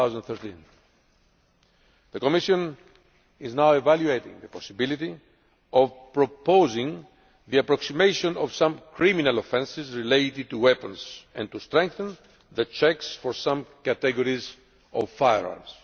in 2013. The Commission is now evaluating the possibility of proposing the approximation of some criminal offences related to weapons and to strengthening the checks for some categories of firearms.